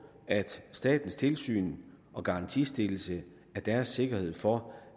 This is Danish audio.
at statens tilsyn og garantistillelse var deres sikkerhed for